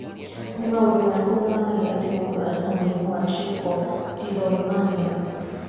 Nĩ maũndũ marĩkũ monanagia atĩ mũndũ arĩ na mũrimũ wa Trichotillomania?